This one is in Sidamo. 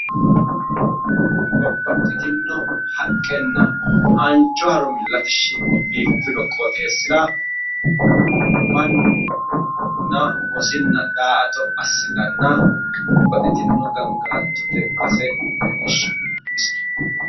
babbaxxitinno haqqenna haanju harumi latishshi biifino qoxeessa mannunna wosinna daa"ato assitanna babbaxxitino ganagalatote base leellishshano